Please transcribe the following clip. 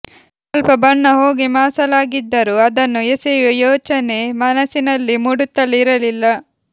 ಸ್ವಲ್ಪ ಬಣ್ಣ ಹೋಗಿ ಮಾಸಲಾಗಿದ್ದರೂ ಅದನ್ನು ಎಸೆಯುವ ಯೋಚನೆ ಮನಸ್ಸಿನಲ್ಲಿ ಮೂಡುತ್ತಲೇ ಇರಲಿಲ್ಲ